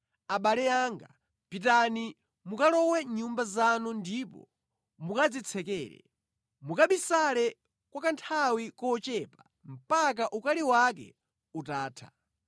Abale anga, pitani mukalowe mʼnyumba zanu ndipo mukadzitsekere; mukabisale kwa kanthawi kochepa mpaka ukali wake utatha.